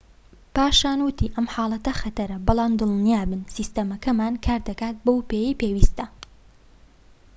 پاشان وتی ئەم حاڵەتە خەتەرە بەڵام دڵنیابن سیستەمەکەمان کار دەکات بەو پێیەی پێویستە